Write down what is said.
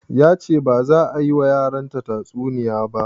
Yace baza a yi ma yaran ta tsuniya ba